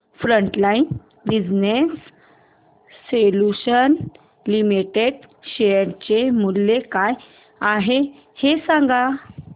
frontline business solutions limited share चे मूल्य काय आहे हे सांगा